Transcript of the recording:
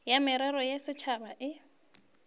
ya merero ya setšhaba e